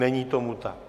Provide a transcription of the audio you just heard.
Není tomu tak.